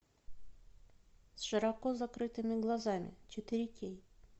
с широко закрытыми глазами четыре кей